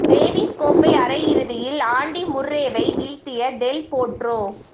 Davis கோப்பை அரை இறுதியில் ஆன்டி முர்ரேவை வீழ்த்திய டெல் போட்ரோ